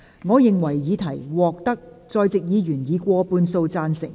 我認為議題獲得在席議員以過半數贊成。